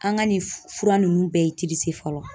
An ka nin fura ninnu bɛɛ fɔlɔ